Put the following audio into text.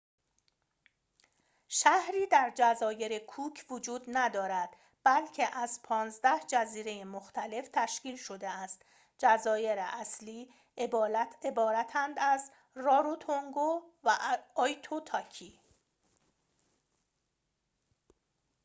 شهری در جزایر کوک وجود ندارد بلکه از ۱۵ جزیره مختلف تشکیل شده است جزایر اصلی عبارتند از راروتونگو و آیتوتاکی